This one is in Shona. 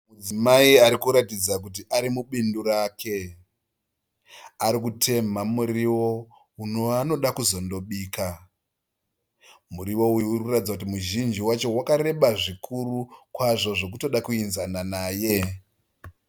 Mudzimai arikuratidza kuti arimubindu rake. Arikutemha murivo uyo waanoda kuzondobika. Murivo uyu urikuratidza kuti muzhinji wacho wakareba zvikuru kwazvo zvokutoda kuinzana naye.